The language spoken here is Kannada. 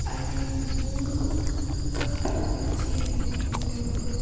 ಅಲ್ಲಿ ಮೂರು ಕಪ್ಪು ಕುರ್ಚಿಯನ್ನು ನೋಡಬಹುದು.